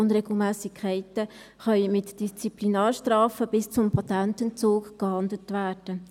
Unregelmässigkeiten können mit Disziplinarstrafen bis zum Patententzug geahndet werden.